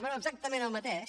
bé exactament el mateix